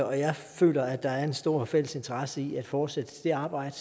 og jeg føler at der er en stor fælles interesse i at fortsætte det arbejde